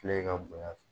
Filɛ ka bonya fɛ